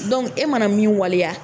e mana min waleya